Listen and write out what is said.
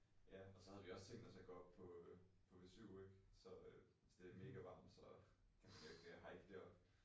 Ja og så havde vi også tænkt os at gå op på på Vesuv ik så øh hvis det mega varmt så øh kan man jo ikke øh hike deroppe